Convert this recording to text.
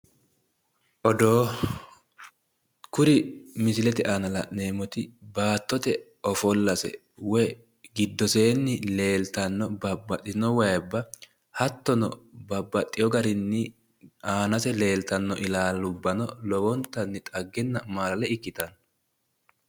Odoo! Kuri misilete aana la'neemmoti baattote ofollase woyi giddoseenni leeltanno babbaxxitino wayibba hattono, babbaxxewo garinni aanase leeltanno ilaalubbano lowontanni xaggenna maalale ikkitanno.